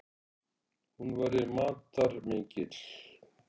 Hún væri matarmikil.